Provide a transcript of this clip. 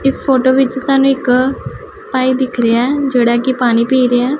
ਇੱਸ ਫ਼ੋਟੋ ਵਿੱਚ ਸਾਨੂੰ ਇੱਕ ਭਾਈ ਦਿੱਖ ਰਿਹਾ ਹੈ ਜਿਹੜਾ ਕੀ ਪਾਣੀ ਪੀ ਰਿਹਾ ਹੈ।